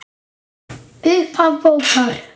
Upphaf bókar